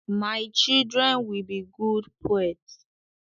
My children will be good poets.